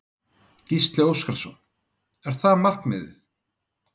Gísli Óskarsson: Er það markmiðið?